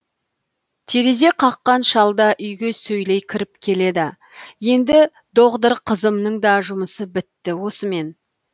терезе қаққан шал да үйге сөйлей кіріп келеді енді доғдыр қызымның да жұмысы бітті осымен